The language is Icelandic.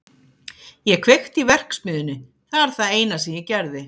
Ég kveikti í verksmiðjunni, það er það eina sem ég gerði.